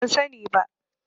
Ban sani ba.